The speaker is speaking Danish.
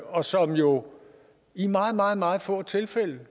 og som jo i meget meget meget få tilfælde